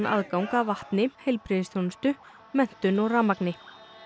aðgang að vatni heilbrigðisþjónustu menntun og rafmagni